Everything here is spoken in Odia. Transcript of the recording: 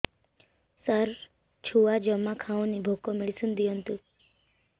ସାର ଛୁଆ ଜମା ଖାଉନି ଭୋକ ମେଡିସିନ ଦିଅନ୍ତୁ